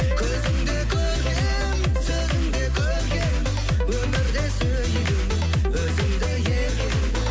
көзің де көркем сөзің де көркем өмірде сүйдім өзіңді еркем